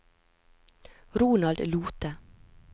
Ronald Lothe